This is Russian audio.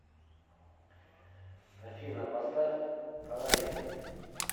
афина поставь фонари